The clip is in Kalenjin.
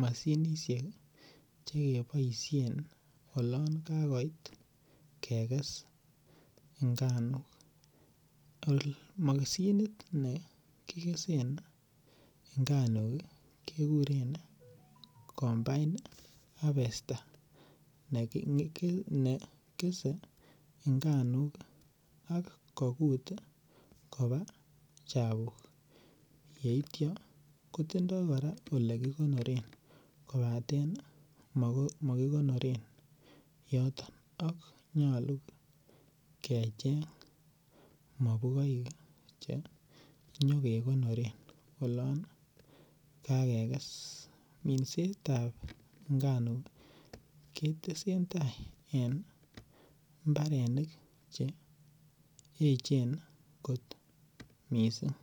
mashinisiek che keboisien olon kagoit keges inganuk. Moshinit nekikesen inganuk keguren combine harvester kit ne kese inganuk ak kogut koba chapuk yeitya kotindo kora elekikonoren kobaten makikonoren yotok ak nyalu kecheng mabukoik che kinyekekonoren olan kakekes. Minsetab inganuk ketentai en mbarenik che eechen kot mising.